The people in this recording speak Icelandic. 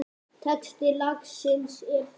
Texti lagsins er þessi